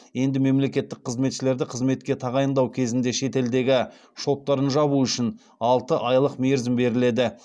енді мемлекеттік қызметшілерді қызметке тағайындау кезінде шетелдегі шоттарын жабу үшін алты айлық мерзім беріледі